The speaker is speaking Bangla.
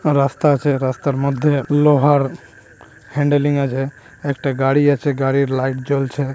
রাস্তা আছে রাস্তার মধ্যে লোহার হ্যান্ডেলিং আছে একটা গাড়ি আছে গাড়ির লাইট জ্বলছে ।